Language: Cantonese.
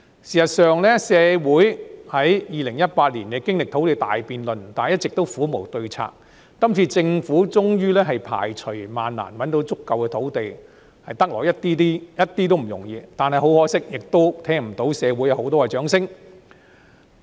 事實上，社會在2018年經歷土地大辯論，但一直苦無對策，政府今次終於排除萬難覓得足夠土地，一點也不容易，但很可惜，同樣聽不到社會有很多的掌聲。